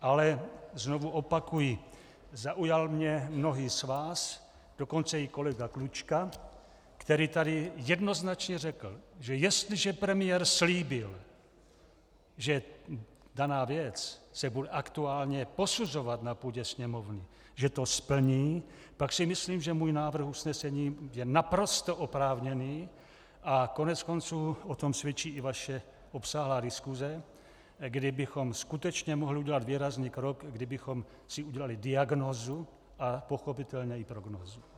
Ale znovu opakuji, zaujal mě mnohý z vás, dokonce i kolega Klučka, který tady jednoznačně řekl, že jestliže premiér slíbil, že daná věc se bude aktuálně posuzovat na půdě Sněmovny, že to splní, pak si myslím, že můj návrh usnesení je naprosto oprávněný, a koneckonců o tom svědčí i vaše obsáhlá diskuse, kdy bychom skutečně mohli udělat výrazný krok, kdybychom si udělali diagnózu a pochopitelně i prognózu.